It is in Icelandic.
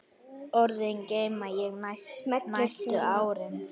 Orðin geymdi ég næstu árin.